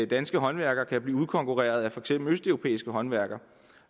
danske håndværkere kan blive udkonkurreret af for eksempel østeuropæiske håndværkere